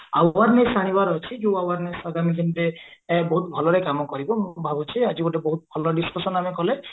awareness ଆଣିବାର ଅଛି ଯୋଉ ଆମେ ମାନେ ଆଗାମୀ ଦିନରେ ବହୁତ ଭଲରେ କାମ କରିବୁ ମୁଁ ଭାବୁଚି ଆଜି ଗୋଟେ ବହୁତ ଭଲ discussion ଆମେ କଲେ